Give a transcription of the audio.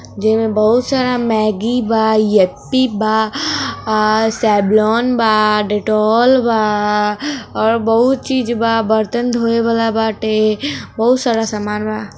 जिमे बहुत सारा मेगी बा याप्पी बा सेवलॉन बा डेटॉल बा और बहुत चीज बा बर्तन धोने वाला बाटे जी में बहुत सारा सामान बा।